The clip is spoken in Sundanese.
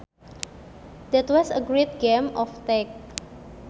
That was a great game of tag